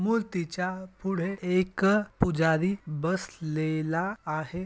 मूर्तिच्या पूढे एक पुजारी बसलेला आहे.